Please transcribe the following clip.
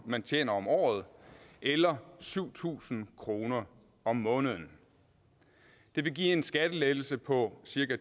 man tjener om året eller syv tusind kroner om måneden det vil give en skattelettelse på cirka